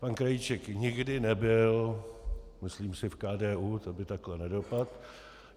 Pan Krajíček nikdy nebyl, myslím si, v KDU, to by takhle nedopadl.